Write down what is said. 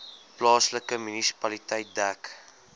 plaaslike munisipaliteit dek